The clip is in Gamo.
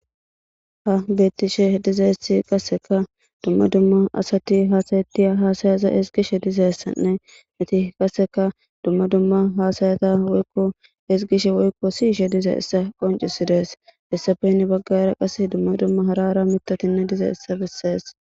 Ha bettishe dizessi qasseka dumma dumma asati haasaytiya haasayaza esgishe dizayssanne iti qasseka dumma dumma haasayata woykko esgishe woykko si ishe dize issa qoncisidees hessafeynni baggara qas dumma dumma harara mitotinne diza issa bessees.